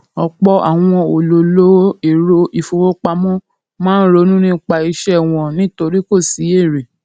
ọpọ àwọn olólò ẹrọ ìfowópamọ máa ronú nípa iṣẹ wọn nítorí kò sí èrè